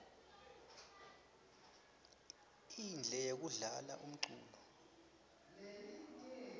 indle yekudlala umculo